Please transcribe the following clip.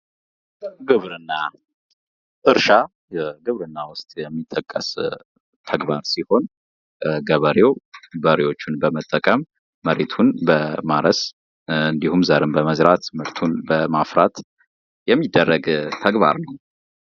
ግብርና፤ እርሻ ግብርና ውስጥ የሚጠቀስ አግባብ ሲሆን፤ ገበሬው በሬዎቹን በመጠቀም መሬቱን ለማረስ እንዲሁም ዘርም ለመዝራት፣ ምርቱን ለማፍራት የሚደረግ ተግባር ነው።